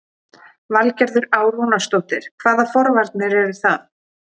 Valgerður Á. Rúnarsdóttir: Hvaða forvarnir eru það?